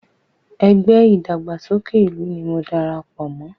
Ẹgbẹ́ ìdàgbàsókè ìlú ni mo dara pọ̀ mọ́